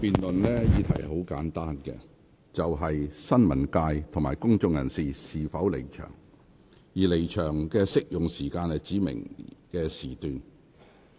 這項辯論的議題很簡單，就是新聞界及公眾人士應否離場，而離場適用於指明的時段。